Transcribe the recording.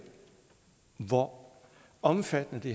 hvor omfattende det